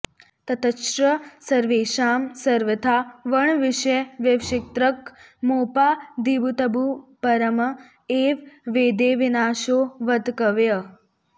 ततश्च सर्वेषां सर्वथा वर्णविषयविवक्षितक्रमोपाधिभूतबुध्युपरम् एव वेदे विनाशो वक्तव्यः